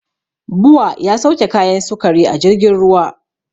Bua ya sauke kayan sukari a jirgin ruwa